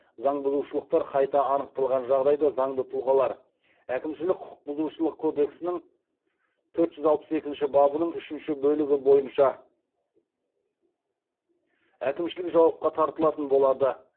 заң бұзушылықтар қайта анықталған жағдайда заңды тұлғалар әкімшілік құқық бұзушылық кодексінің төрт жүз алпыс екінші бабының үшінші бөлігі бойынша әкімшілік жауапқа тартылатын болады